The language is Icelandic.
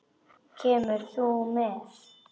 Kemur þú með?